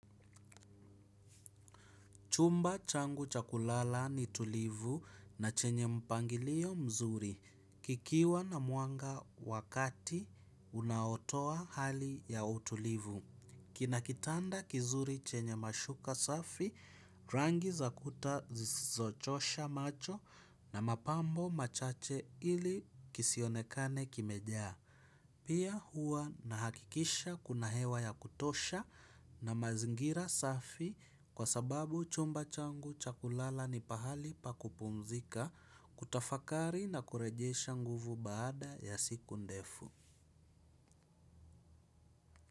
Chumba changu cha kulala ni tulivu na chenye mpangilio mzuri. Kikiwa na mwanga wa kati, unaotoa hali ya utulivu. Kina kitanda kizuri chenye mashuka safi, rangi za kuta zisizochosha macho na mapambo machache ili kisionekane kimejaa. Pia huwa nahakikisha kuna hewa ya kutosha na mazingira safi kwa sababu chumba changu cha kulala ni pahali pa kupumzika kutafakari na kurejesha nguvu baada ya siku ndefu.